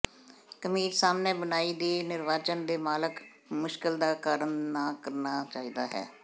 ਕਮੀਜ਼ ਸਾਹਮਣੇ ਬੁਣਾਈ ਵੀ ਨਿਹਚਾਵਾਨ ਦੇ ਮਾਲਕ ਮੁਸ਼ਕਲ ਦਾ ਕਾਰਨ ਨਾ ਕਰਨਾ ਚਾਹੀਦਾ ਹੈ